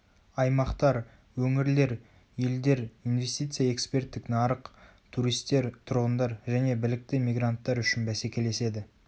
аймақтар өңірлер елдер инвестиция эксперттік нарық туристер тұрғындар және білікті мигранттар үшін бәсекелеседі